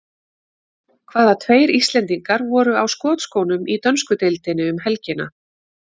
Hvaða tveir Íslendingar voru á skotskónum í dönsku deildinni um helgina?